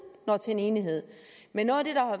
når til enighed men noget